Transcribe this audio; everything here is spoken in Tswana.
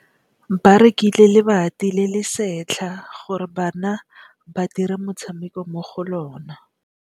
Ba rekile lebati le le setlha gore bana ba dire motshameko mo go lona.